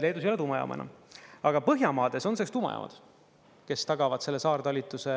Leedus ei ole tuumajaama enam, aga Põhjamaades on selleks tuumajaamad, kes tagavad selle saartalitluse,